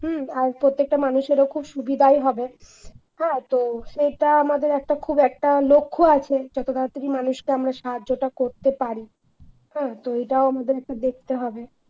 হম আর প্রত্যেকটা মানুষেরও খুব সুবিধাই হবে হ্যাঁ তো সেটা আমাদের একটা খুব একটা লক্ষ্য আছে যত তাড়াতাড়ি মানুষকে আমরা সাহায্যটা করতে পারি হ্যাঁ তো এটাও আমাদের একটা দেখতে হবে।